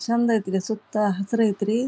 ಚೆಂದ ಅಯ್ತ್ರಿ ಸುತ್ತ ಹಸಿರು ಅಯ್ತ್ರಿ.